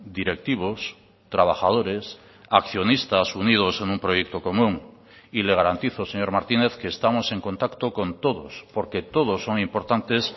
directivos trabajadores accionistas unidos en un proyecto común y le garantizo señor martínez que estamos en contacto con todos porque todos son importantes